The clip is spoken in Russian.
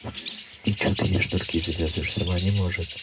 и что ты ей шнурки завязываешь сама не может